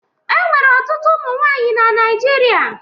E nwere ọtụtụ ụmụ nwaanyị na Naijiria.